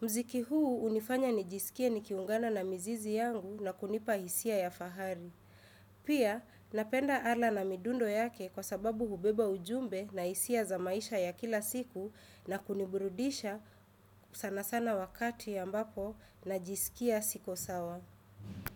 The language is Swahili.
Mziki huu unifanya nijisikie nikiungana na mzizi yangu na kunipa hisia ya fahari. Pia, napenda ala na midundo yake kwa sababu hubeba ujumbe na hisia za maisha ya kila siku na kuniburudisha sana sana wakati ambapo najisikia siko sawa.